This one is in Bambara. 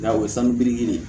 Nga o ye sanubiri ye